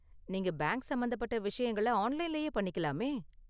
நீங்கள் பேங்க் சம்பந்தப்பட்ட விஷயங்கள ஆன்லைன்லயே பண்ணிக்கலாமே?